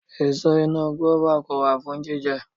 Èso inú gùáfà kò wà fún jíjẹ